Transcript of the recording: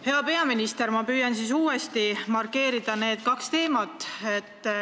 Hea peaminister, ma püüan siis need kaks teemat uuesti markeerida.